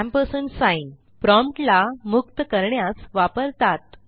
ampersand promptला मुक्त करण्यास वापरतात